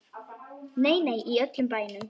Nei, nei, í öllum bænum.